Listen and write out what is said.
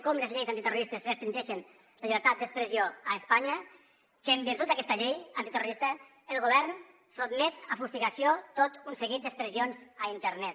com les lleis antiterroristes restringeixen la llibertat d’expressió a espanya que en virtut d’aquesta llei antiterrorista el govern sotmet a fustigació tot un seguit d’expressions a internet